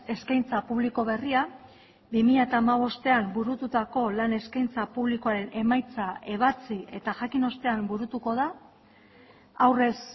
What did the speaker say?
eskaintza publiko berria bi mila hamabostean burututako lan eskaintza publikoaren emaitza ebatzi eta jakin ostean burutuko da aurrez